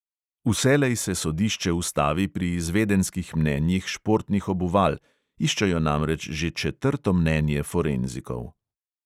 Vselej se sodišče ustavi pri izvedenskih mnenjih športnih obuval, iščejo namreč že četrto mnenje forenzikov.